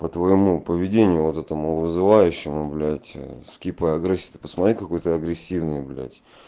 по твоему поведению вот этому вызывающему блядь скип и агрессия ты посмотри какой ты агрессивный блядь